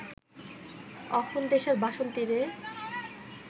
অখন দেশের বাসন্তীরে